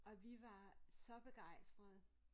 Og vi var så begejstrede